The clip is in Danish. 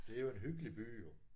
Det jo en hyggelig by jo